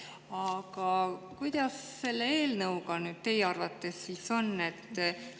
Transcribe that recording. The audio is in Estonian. Aga kuidas selle eelnõuga nüüd teie arvates siis on?